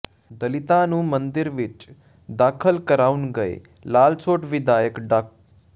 ਦਲਿਤਾਂ ਨੂੰ ਮੰਦਿਰ ਵਿੱਚ ਦਾਖਲ ਕਰਾਉਣ ਗਏ ਲਾਲਸੋਟ ਵਿਧਾਇਕ ਡਾ